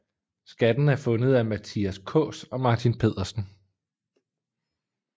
Skatten er fundet af Mathias Kaas og Martin Pedersen